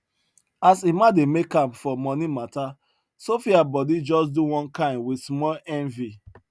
as emma dey make am for money matta sophia body just do one kin wit small envy